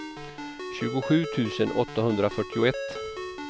tjugosju tusen åttahundrafyrtioett